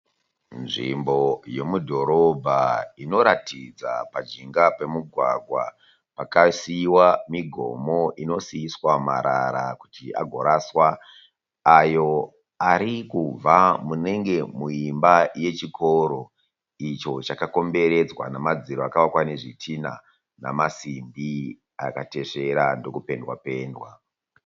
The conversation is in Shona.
Nzvimbo yomudhorobha inoratidza pajinga pemugwagwa pakasiiwa migomo inosiiswa marara kuti agoraswa. Ayo arikubva munenge muimba yechikoro. Icho chakakomberedzwa nemadziro akavakwa nezvidhinha nemasimbi akatesvera ndokupendwa pendwa.